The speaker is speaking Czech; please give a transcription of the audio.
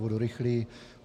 Budu rychlý.